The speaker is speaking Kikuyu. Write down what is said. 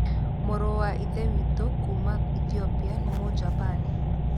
Mũrũrũ wa Ithe witũ kuuma Ethiopia nĩ Mũjapani.